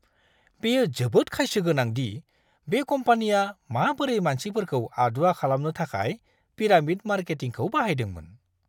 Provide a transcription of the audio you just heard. बेयो जोबोद खायसो गोनां दि बे कम्पानिया माबोरै मानसिफोरखौ आदुवा खालामनो थाखाय पिरामिड मार्केटिंखौ बाहायदोंमोन!